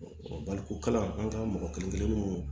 Ɔ bariko kalan an ka mɔgɔ kelen kelenw